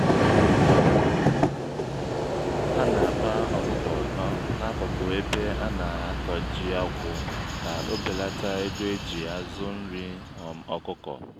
ha na-akpa ọkụkọ n'akụkụ ebe ana-akọ ji-akwụ ka ọ belata ego eji azụ nri um ọkụkọ